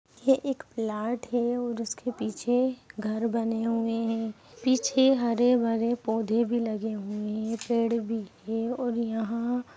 यह एक प्लॉट है और उसके पीछे घर बने हुए है पीछे हरे भरे पौधे भी लगे हुए है पेड़ भी हैं और यहां ---